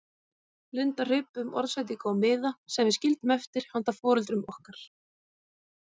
Linda hripuðum orðsendingu á miða sem við skildum eftir handa foreldrum okkar.